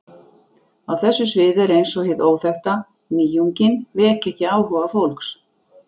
Á þessu sviði er eins og hið óþekkta, nýjungin, veki ekki áhuga fólks.